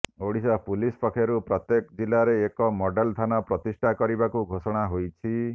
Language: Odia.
ଓଡ଼ିଶା ପୁଲିସ ପକ୍ଷରୁ ପ୍ରତ୍ୟେକ ଜିଲ୍ଲାରେ ଏକ ମଡେଲ ଥାନା ପ୍ରତିଷ୍ଠା କରିବାକୁ ଘୋଷଣା ହୋଇଛି